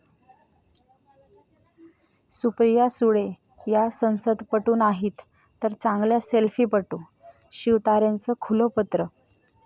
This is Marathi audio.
सुप्रिया सुळे या संसदपटू नाहीत तर चांगल्या सेल्फीपटू, शिवतारेंचं खुलं पत्र